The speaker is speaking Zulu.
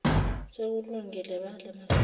sekulungile badle masinyane